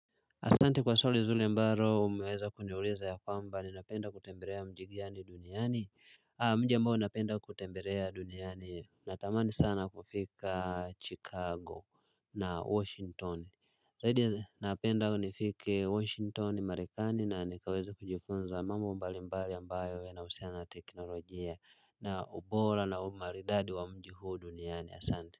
Asante kwa swali zuri ambalo umeweza kuniuliza ya kwamba ninapenda kutembelea mji gani duniani mji ambao napenda kutembelea duniani natamani sana kufika Chicago na Washington zaidi napenda nifike Washington Marekani na nikaweze kujifunza mambo mbali mbali ambayo yanahusiana na teknolojia na ubora na umaridadi wa mji huu duniani. Asante